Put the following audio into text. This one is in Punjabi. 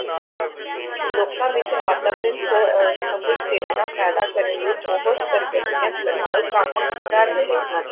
ਲੋਕਾਂ ਵਿੱਚ ਵਾਤਾਵਰਨ ਸ ਅਹ ਸੰਬੰਧੀ ਚੇਤਨਾ ਪੈਦਾ ਕਰਨ ਲਈ ਬਹੁਤ ਸਰਗਰਮੀਆਂ ਨਾਲ ਕੰਮ ਕਰ ਰਹੇ ਹਨ।